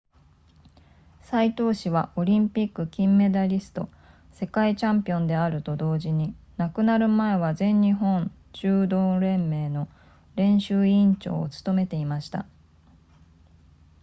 斎藤氏はオリンピック金メダリスト世界チャンピオンであると同時に亡くなる前は全日本柔道連盟の練習委員長を務めていました